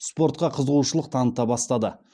спортқа қызушылық таныта бастады